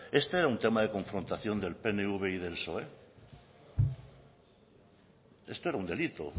este era un tema de confrontación del pnv y del psoe esto era un delito